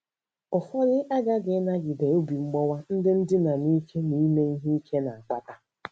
Ụfọdụ aghaghị ịnagide obi mgbawa ndị ndina n’ike na ime ihe ike na - akpata.